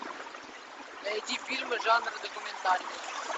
найди фильмы жанра документальный